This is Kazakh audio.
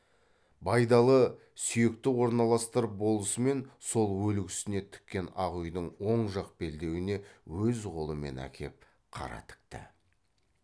байдалы сүйекті орналастырып болысымен сол өлік үстіне тіккен ақ үйдің оң жақ белдеуіне өз қолымен әкеп қара тікті